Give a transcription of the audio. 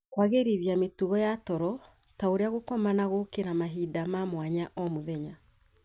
Kũagĩrithia mĩtugo ya toro, ta ũrĩa gũkoma na gũkĩra mahinda ma mwanya o mũthenya,